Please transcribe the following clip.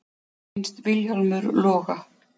Finnst Vilhjálmur loga.